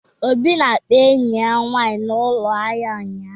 Obi na-akpa enyi ya nwanyị na ụlọ ahịa ụnyahụ